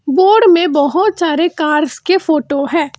Board में बहुत सारे कार्स के फोटो है।